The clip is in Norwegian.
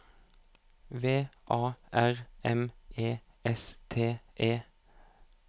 V A R M E S T E